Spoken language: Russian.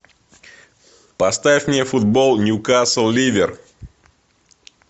поставь мне футбол ньюкасл ливер